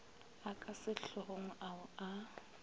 a ka sehlogong ao a